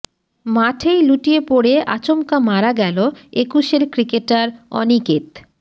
মাঠেই লুটিয়ে পড়ে আচমকা মারা গেল একুশের ক্রিকেটার অনিকেত